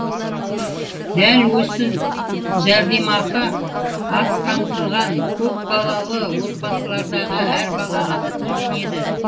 дәл осы жәрдемақы аз қамтылған көпбалалы отбасылардағы әр балаға да төленеді